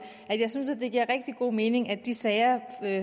at jeg synes at det giver rigtig god mening at de sager